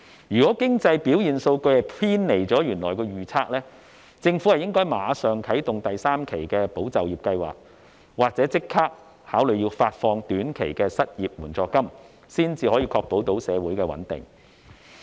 如果經濟表現數據偏離了原來的預測，政府應該立即啟動第三期"保就業"計劃，或考慮發放短期失業援助金，以確保社會的穩定。